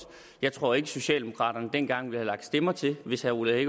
jeg tror ikke at socialdemokraterne dengang ville have lagt stemmer til hvis herre ole